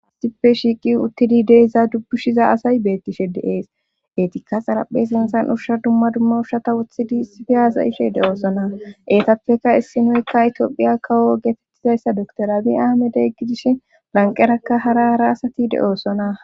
aastippe shiiqi uttidi deiza dubbushiza asay bettishe deees etikka xaraphe sentan ushsha dumma duma ushshata wuthidi sifiyaza ishe de7oosona eetappeka issinoykka itiophiya kawo geetettizayssa doktorabi ahamedeyggidishe banqerakka hara hara asati de7oosona